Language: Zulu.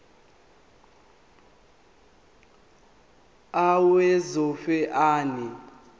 a owesifaz ane